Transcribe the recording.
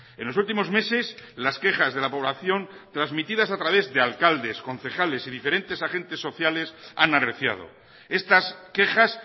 en los últimos meses las quejas de la población transmitidas a través de alcaldes concejales y diferentes agentes sociales han arreciado estas quejas